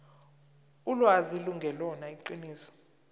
ulwazi lungelona iqiniso